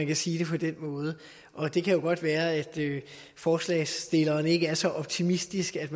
kan siges på den måde og det kan jo godt være at forslagsstillerne ikke er så optimistiske at